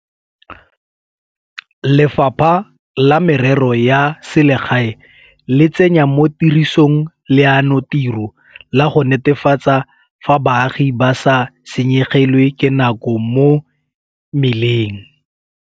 Lefapha la Merero ya Selegae le tsenya mo tirisong leanotiro la go netefatsa fa baagi ba sa senyegelwe ke nako mo meleng.